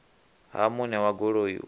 ha muṋe wa goloi u